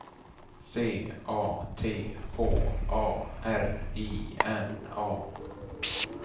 C A T H A R I N A